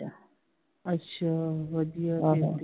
ਅੱਛਾ ਵਧੀਆ ਵਧੀਆ ਵਧੀਆ